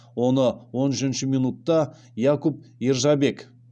оны он үшінші минутта якуб ержабек